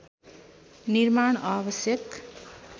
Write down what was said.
निर्माण आवश्यक